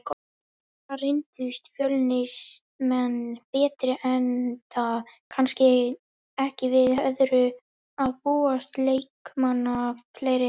Þar reyndust Fjölnismenn betri enda kannski ekki við öðru að búast, leikmanni fleiri.